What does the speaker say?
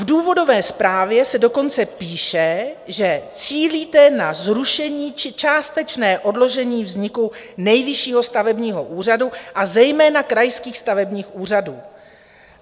V důvodové zprávě se dokonce píše, že cílíte na zrušení či částečné odložení vzniku Nejvyššího stavebního úřadu, a zejména krajských stavebních úřadů.